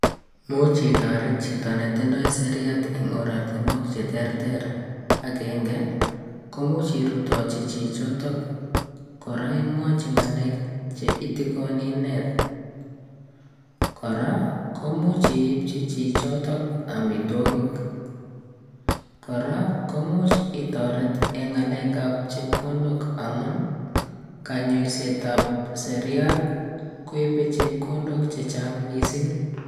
Much itoret chito netindoi seriat eng oratinwek cheterter agenge komuuch irutochi chichoto kora imwochi ngalek cheitikono inee kora komuuch iibchi chichoto omitwokik kora komuch itoret eng ngalek ab chepkondok amun kanyaset ab seriat koibei chepkondok chechang mising.